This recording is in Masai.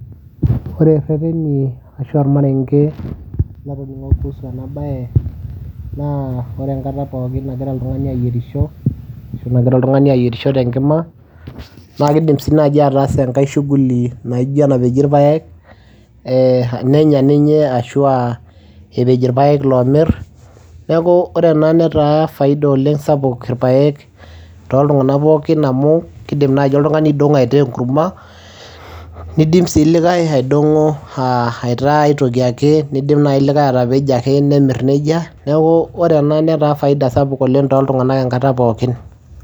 Ore ireteni ashu ormareng'e latoning'o kuhusu ena baye naa ore enkata pookin nagira oltung'ani ayierisho ashu nagira oltung'ani ayierisho te nkima, naake iidim sii naaji ataasa enkae shughuli naijo enapeji irpaek ee nenya ninye ashu aa epej irpaek loomir. Neeku ore ena netaa faida oleng' sapuk irpaek toltung'anak pookin amu kiidim naaji oltung'ani aidong'o aitaa enkuruma, niidim sii likai aidong'o aa aitaa ai toki ake, niidim nai likae atapejo ake nemir neija. Neeku ore ena netaa faida sapuk oleng' toltung'anak enkata pookin.